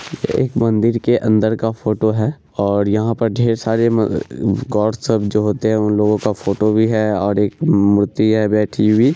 एक मंदिर के अंदर का फोटो है और यहाँ पर ढेर सारे म अ गॉड सब जो होते है उन लोगो का फोटो भी है और एक मूर्ति है बैठी हुई।